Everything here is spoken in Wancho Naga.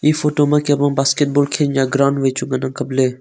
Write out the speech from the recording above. e photo ma kem ang basketball khen nia ground wai chu ngan ang kap ley.